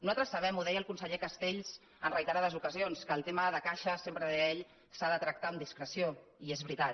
nosaltres sabem ho deia el conseller castells en re·iterades ocasions que el tema de caixes sempre ho deia ell s’ha de tractar amb discreció i és veritat